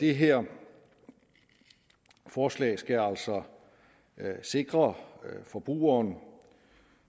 det her forslag skal altså sikre forbrugeren